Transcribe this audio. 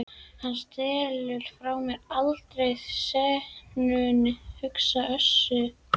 Hann stelur frá mér allri senunni, hugsaði Össur.